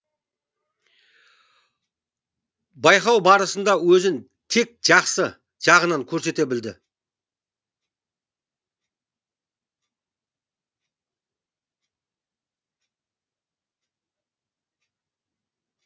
байқау барысында өзін тек жақсы жағынан көрсете білді